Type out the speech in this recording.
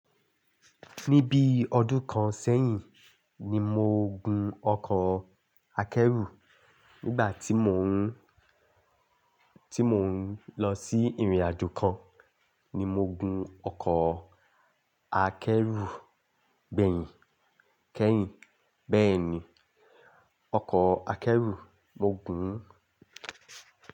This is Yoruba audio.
Ní bí ọdún kan sẹ́yìn ni mo gun ọkọ̀ akẹ́rù. Nígbà tí mò ń, tí mò ń lọ sí ìrìnàjò kan ni mo gun ọkọ̀ akẹ́rù gbẹ̀yìn kẹ́yìn. Bẹ́ẹ̀ ni, ọkọ̀ akẹ́rù mo gun-un.